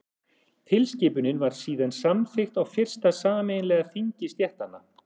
tilskipunin var síðan samþykkt á fyrsta sameiginlega þingi stéttanna